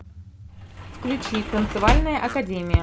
включи танцевальная академия